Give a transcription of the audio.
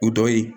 O dɔ ye